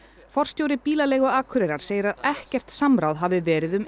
forstjóri bílaleigu Akureyrar segir að ekkert samráð hafi verið um